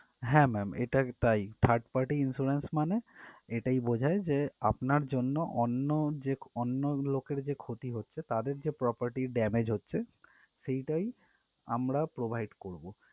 হ্যাঁ ma'am এটা তাই third party insurance মানে এটাই বোঝায় যে আপনার জন্য অন্য যেক~ অন্য লোকের যে ক্ষতি হচ্ছে তাদের যে property damage হচ্ছে সেটাই আমরা provide করবো।